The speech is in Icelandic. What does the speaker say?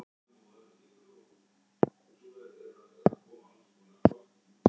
annars staðar er það sjálfsagður hlutur